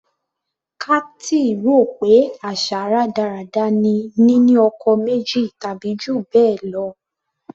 Kathy rò pé àṣà rádaràda ni nínú ọkọ méjì tàbí jù bẹ́ẹ̀ lọ.